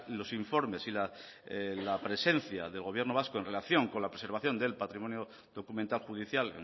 los informes y la presencia del gobierno vasco en relación con la preservación del patrimonio documental judicial